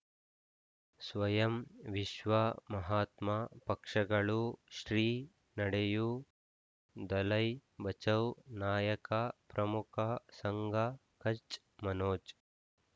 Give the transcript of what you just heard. ಸ್ವಯಂ ವಿಶ್ವ ಮಹಾತ್ಮ ಪಕ್ಷಗಳು ಶ್ರೀ ನಡೆಯೂ ದಲೈ ಬಚೌ ನಾಯಕ ಪ್ರಮುಖ ಸಂಘ ಕಚ್ ಮನೋಜ್